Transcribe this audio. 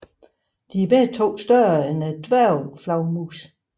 De er begge større end dværgflagermusen